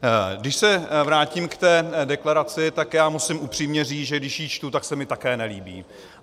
Když se vrátím k té deklaraci, tak já musím upřímně říci, že když ji čtu, tak se mi také nelíbí.